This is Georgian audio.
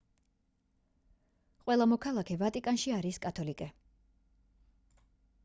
ყველა მოქალაქე ვატიკანში არის კათოლიკე